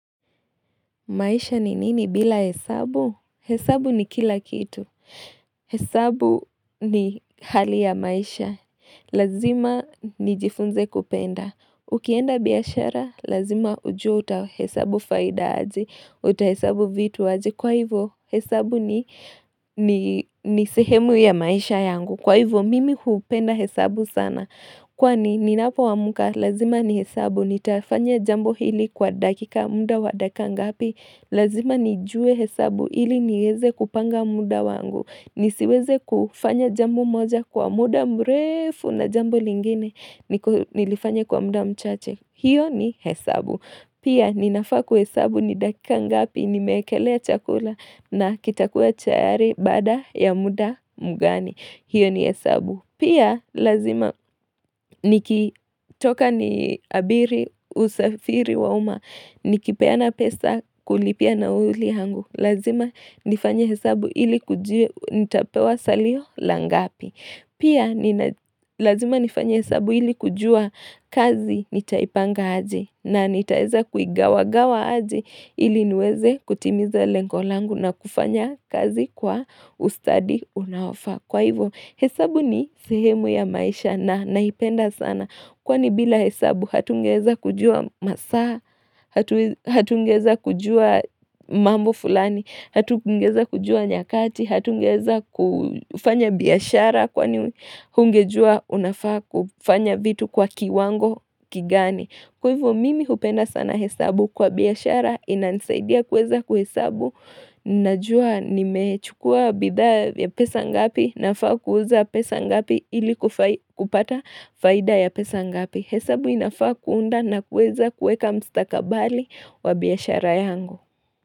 Maisha ni nini bila hesabu? Hesabu ni kila kitu. Hesabu ni hali ya maisha. Lazima nijifunze kupenda. Ukienda biashara, lazima ujue utahesabu faida aje, utahesabu vitu aje. Kwa hivyo, hesabu ni sehemu ya maisha yangu. Kwa hivyo, mimi hupenda hesabu sana. Kwani, ninapoamka, lazima nihesabu. Nitafanya jambo hili kwa dakika muda wa dakika ngapi Lazima nijue hesabu ili nieze kupanga muda wangu nisiweze kufanya jambo moja kwa muda mrefu na jambo lingine niko Nilifanya kwa muda mchache hiyo ni hesabu Pia ninafaa kuhesabu ni dakika ngapi Nimeekelea chakula na kitakuwa chayari baada ya muda mgani hiyo ni hesabu Pia lazima nikitoka niabiri, usafiri wa umma, nikipeana pesa kulipia nauli hangu. Lazima nifanye hesabu ili kujua, nitapewa salio la ngapi. Pia lazima nifanye hesabu ili kujua kazi nitaipanga aje na nitaeza kuigawagawa aje ili niweze kutimiza lengo langu na kufanya kazi kwa ustadi unaoafaa. Kwa hivyo hesabu ni sehemu ya maisha na naipenda sana. Kwani bila hesabu hatungeeza kujua masaa, hatungeeza kujua mambo fulani, hatungeeza kujua nyakati, hatungeeza kufanya biashara kwani hungejua unafaa kufanya vitu kwa kiwango kigani. Kwa hivo mimi hupenda sana hesabu kwa biashara inanisaidia kueza kuhesabu najua nimechukua bidhaa ya pesa ngapi nafaa kuuza pesa ngapi ili kupata faida ya pesa ngapi. Hesabu inafaa kuunda na kuweza kuweka mustakabali wa biashara yangu.